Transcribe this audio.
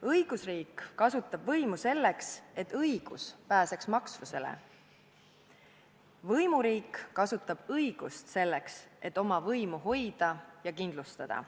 Õigusriik kasutab võimu selleks, et õigus pääseks maksvusele – võimuriik kasutab õigust selleks, et oma võimu hoida ja kindlustada.